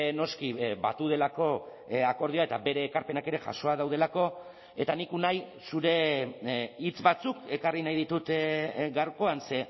noski batu delako akordioa eta bere ekarpenak ere jasoak daudelako eta nik unai zure hitz batzuk ekarri nahi ditut gaurkoan ze